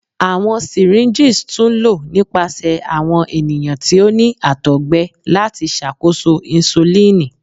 Awọn syringes tun lo nipasẹ awọn eniyan ti o ni àtọgbẹ lati ṣakoso insulini.